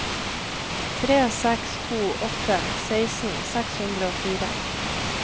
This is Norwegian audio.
tre seks to åtte seksten seks hundre og fire